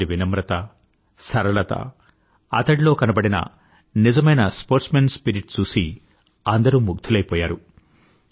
అతడి వినమ్రత సరళత అతడిలో కనబడిన నిజమైన స్పోర్ట్స్మాన్ స్పిరిట్ చూసి అందరూ ముగ్ధులైపోయారు